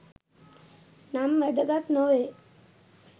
නම් වැදගත් නොවේ